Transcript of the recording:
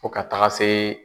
Fɔ ka taga se